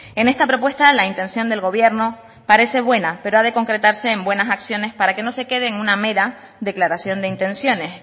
en esta propuesta la intención del gobierno parece buena pero ha de concretarse en buenas acciones para que no se quede en una mera declaración de intenciones